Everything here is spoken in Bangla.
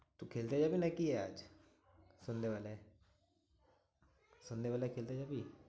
তুই খেলতে যাবি নাকি আজ? সন্ধেবেলায়? সন্ধেবেলায় খেলতে যাবি?